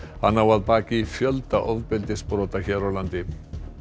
hann á að baki fjölda ofbeldisbrota hér á landi